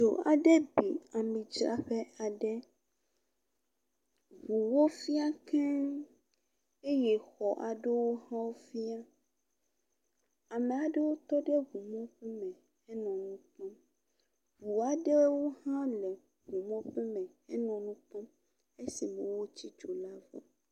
Dzo aɖe bi amidzraƒe aɖe. Ŋuwo fia keŋ eye xɔ aɖewo hã fia. Ame aɖewo tɔ ɖe ŋu mɔƒome henɔ nu kpɔm. Ŋu aɖewo hã le ŋu mɔƒome henɔ nu kpɔm esime wotsi dzo la vɔ.